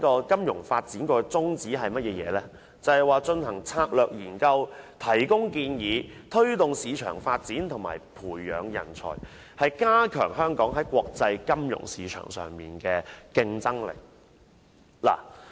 金發局的宗旨，是進行策略研究，向政府提供建議，推動市場發展和培養人才，以加強香港在國際金融市場上的競爭力。